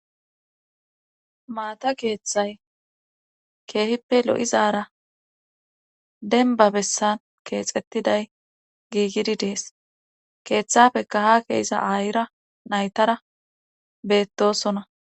Maata keeththay keehippe lo7izara denba bessan keexettiday giigidi dees keeththafeka ha keesa aayira naytara beettosona